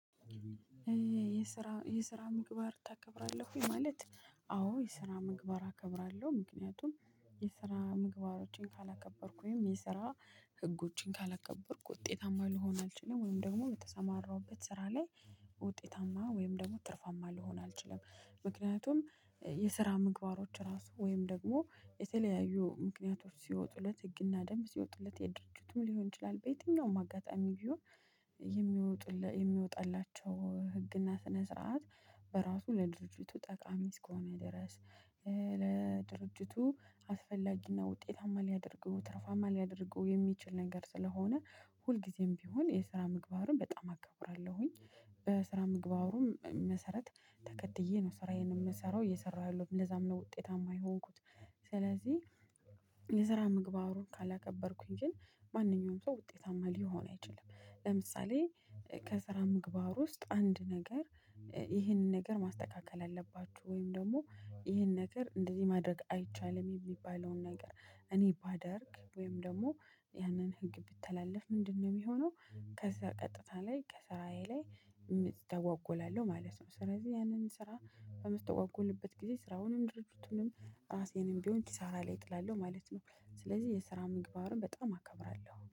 የስራ የስራ ምግባር ታከብራለህ ወይ ማለት? አዎ የስራ ምግባር አከብራለሁ ምክንያቱም የስራ ምግባሮችን ካላከበርኩ ወይም የስራ ህጎችን ካላከበርኩ ውጤታማ ልሆን አልችልም ወይም ደግሞ የተሰማራውበት ስራ ላይ ውጤታማ ወይም ደግሞ ትርፋማ ልሆን አልችልም። ምክንያቱም የስራ ምግባሮች ራሱ ወይም ደግሞ የተለያዩ ምክንያቶች ሲወጡለት ህግና ደንብ ሲወጡለት የድርጅቱ ሊሆን ይችላል በየትኛውም አጋጣሚ ቢሆን የሚወጡለት የሚወጣላቸው ህግና ስነ ስርዓት በራሱ ለድርጅቱ ጠቃሚ እስከሆነ ድረስ። ለድርጅቱ አስፈላጊና ውጤታማ ሊያደርገው ትርፋማ ሊያደርገው የሚችል ነገር ስለሆነ ሁልጊዜም ቢሆን የስራ ምግባርን በጣም አከብራለሁኝ። በስራ ምግባሩም መሰረት ተከትዬ ነው ስራዬን የምሰራው እየሰራሁ ያለሁት ለዛም ነው ውጤታማ የሆንኩት። ስለዚህ የስራ ምግባሩን ካላከበርኩኝ ግን ማንኛውም ሰው ውጤታማ ሊሆን አይችልም። ለምሳሌ ከስራ ምግባር ውስጥ አንድ ነገር። ይህንን ነገር ማስተካከል አለባችሁ ወይም ደግሞ ይህን ነገር እንደዚህ ማድረግ አይቻልም የሚባለውን ነገር እኔ ባደርግ ወይም ደግሞ ያንን ህግ ብተላለፍ ምንድነው የሚሆነው? ከዛ ቀጥታ ላይ ከስራዬ ላይ እተጓጎላለሁ ማለት ነው። ስለዚህ ያንን ስራ በምትጓጎልበት ጊዜ ስራውንም ድርጅቱንም ራሴንም ቢሆን ኪሳራ ላይ እጥላለሁ ማለት ነው። ስለዚህ የስራ ምግባርን በጣም አከብራለሁ